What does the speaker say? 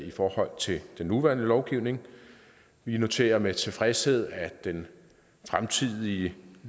i forhold til den nuværende lovgivning vi noterer med tilfredshed at den fremtidige